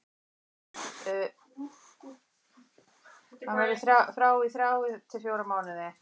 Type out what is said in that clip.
Hann verður frá í þrjá til fjóra mánuði.